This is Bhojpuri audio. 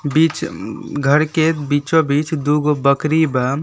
बीच उं घर के बीचो बीच दुगो बकरी बा।